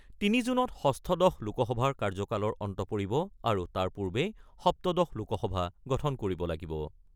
৩ জুনত ষষ্ঠদশ লোকসভাৰ কাৰ্য্যকালৰ অন্ত পৰিব আৰু তাৰ পূৰ্বেই সপ্তদশ লোকসভা গঠন কৰিব লাগিব।